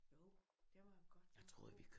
Jo den var godt nok god